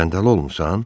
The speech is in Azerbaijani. Səndələ olmusan?